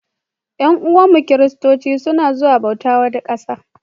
Yan'uwanmu Kiristanci suna zuwa bauta wata ƙasar.